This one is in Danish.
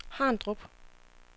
Harndrup